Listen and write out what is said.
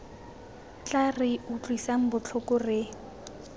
tla re utlwisang botlhoko re